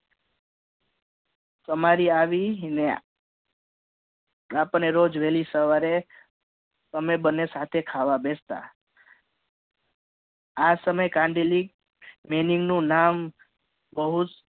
અમારી આવી અને આપણે રોજ વહેલી સવારે અમે બંને સાથે ખાવા બેસ્ટ આ સમયે કંડલી વેણી નું નામ બહુજ